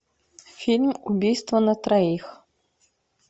фильм убийство на троих